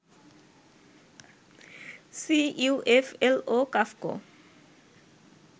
CUFL ও কাফকো